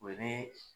O ye ne